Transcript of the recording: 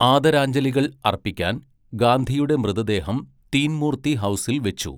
ആദരാഞ്ജലികൾ അർപ്പിക്കാൻ, ഗാന്ധിയുടെ മൃതദേഹം തീൻ മൂർത്തി ഹൗസിൽ വച്ചു.